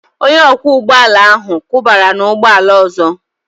Onye ọkwọ ụgbọ ala ahụ kụbara n'ụgbọ ala ọzọ